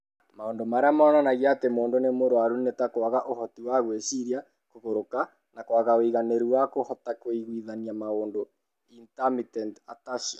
Maũndũ marĩa monanagia atĩ mũndũ nĩ arũaru nĩ ta kwaga ũhoti wa gwĩciria, kũgũrũka, na kwaga ũigananĩru na kũhota kũiguithania maũndũ (intermittent ataxia).